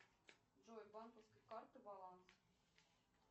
джой банковская карта баланс